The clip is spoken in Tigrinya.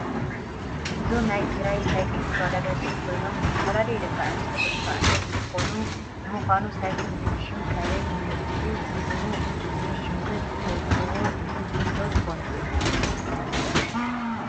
እዞም ናይ ትግራይ ሳይክል ተወዳደርቲ ኮይኖም ዝተፈላለዩ ደቂ ኣንስትዮን ደቂ ተባዕትዮ እንትኮኑ ንምካኑ ሳይክል ዝብል ሽም ከበይ መፅኡ ትርጉም እዚ ሽምከ ትፍልጥዎዶ ትከኑ?